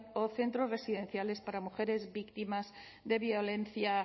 o centros residenciales para mujeres víctimas de violencia